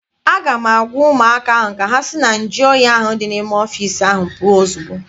A ga m agwa ụmụaka ahụ ka sị na nju oyi ahụ dị n'ime ọfịịsi ahụ pụọ ozugbo!